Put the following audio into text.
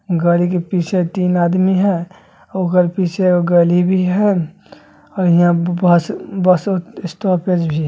गाड़ी के पीछे तीन आदमी हेय ओकर पीछे गली भी हेय और हीया बस बस स्टॉपेज भी --